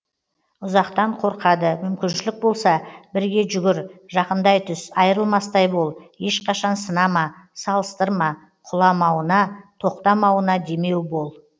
ұзақтан қорқады мүмкіншілік болса бірге жүгір жақындай түс айырылмастай бол ешқашан сынама салыстырма құламауына тоқтамауына демеу бол